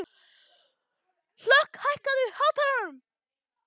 Hlökk, hækkaðu í hátalaranum.